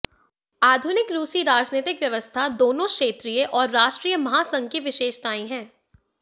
आधुनिक रूसी राजनीतिक व्यवस्था दोनों क्षेत्रीय और राष्ट्रीय महासंघ की विशेषताएं है